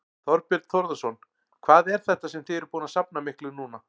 Þorbjörn Þórðarson: Hvað er þetta sem þið eruð búin að safna miklu núna?